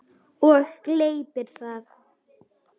Og gleypir það.